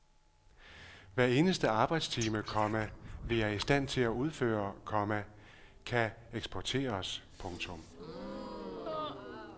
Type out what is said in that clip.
Hver eneste arbejdstime, komma vi er i stand til at udføre, komma kan eksporteres. punktum